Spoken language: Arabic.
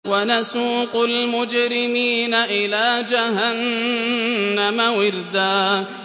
وَنَسُوقُ الْمُجْرِمِينَ إِلَىٰ جَهَنَّمَ وِرْدًا